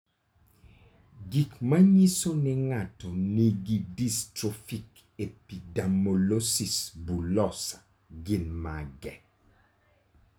Gik manyiso ni ng'ato nigi Dystrophic epidermolysis bullosa gin mage?